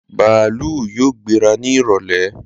Bàálù yóò gbéra ni ìrọ̀lẹ́